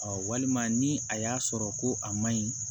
walima ni a y'a sɔrɔ ko a man ɲi